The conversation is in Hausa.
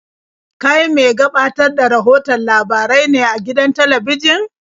Kai me gabatar da rahoton labarai ne a gidan talabijin?